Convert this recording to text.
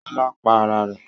Ṣọlá pa ara rẹ̀?